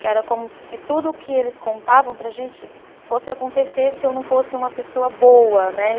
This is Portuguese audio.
Que era como se tudo que eles contavam para a gente fosse acontecer se eu não fosse uma pessoa boa, né?